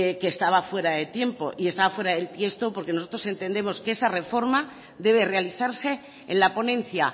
que estaba fuera de tiempo y está fuera de tiesto porque nosotros entendemos que esa reforma debe realizarse en la ponencia